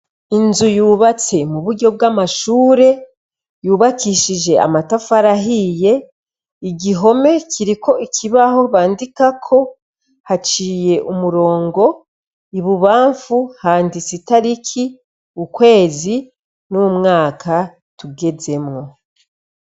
Inzu yubatse mu buryo bw'amashure yubakishije amatafarahiye igihome kiri ko ikibaho bandikako haciye umurongo ibubamfu handitse itariki ukwezi n'umwaka tugezemwo.